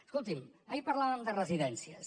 escolti’m ahir parlàvem de residències